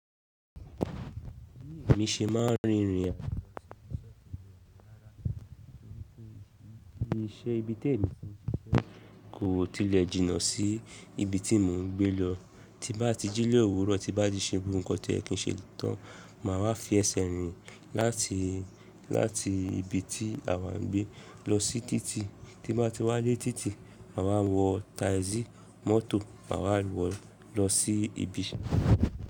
Bí èmi ṣe máa ń rin ìrìn àjò sí ṣótìì ọ̀kẹ́ lára ni pé iṣẹ́ ibi tó èmi ti ń ṣe kò tilẹ̀ jìnnà sí ibi tí mò ń gbé lọ. Tí bá ti jí ni òwúrọ̀, tí bá ti ṣe gbogbo nnkan toyẹ kin ṣe tán, màá wá fi ẹsẹ̀ rìn láti, láti ibi tí àwa ń gbé lọ sí títì. Tí n bá ti wá dé títì, màá wá wọ táìsì mọ́tò, màá wá wọ lọ sí ibi ise.